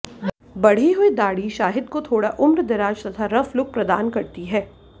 बढ़ी हुई दाढ़ी शाहिद को थोड़ा उम्रदराज तथा रफ लुक प्रदान करती है